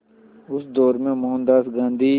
उस दौर में मोहनदास गांधी